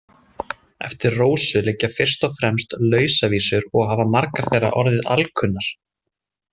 Eftir Rósu liggja fyrst og fremst lausavísur og hafa margar þeirra orðið alkunnar.